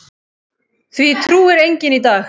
Því trúir enginn í dag.